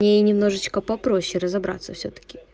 немножечко попроще разобраться все таки